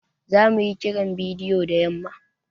Zamu yi Kiran bidiyo da yamma.